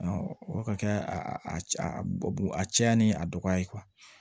o ka kɛ a cɛya ni a dɔgɔya ye